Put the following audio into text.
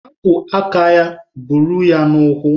Hapụ aka ya buru ya n'ụkwụ!